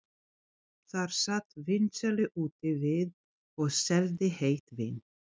Þar sat vínsali úti við og seldi heitt vín.